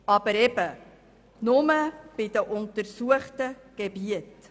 Aber das gilt eben nur bei den untersuchten Gebieten.